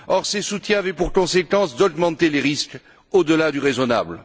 Or, ces soutiens avaient pour conséquence d'augmenter les risques au delà du raisonnable.